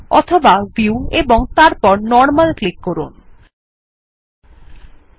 অথবা ভিউ ও তারপর নরমাল ক্লিক করতে পারেন